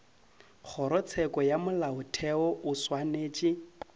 kgorotsheko ya molaotheo o swanetše